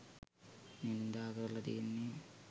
නින්දා කරල තියෙන්නෙ.